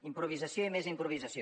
improvisació i més improvisació